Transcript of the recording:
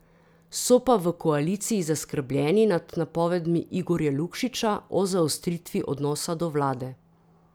So pa v koaliciji zaskrbljeni nad napovedmi Igorja Lukšiča o zaostritvi odnosa do vlade.